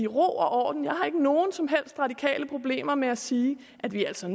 ro og orden jeg har ikke nogen som helst radikale problemer med at sige at vi altså